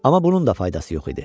Amma bunun da faydası yox idi.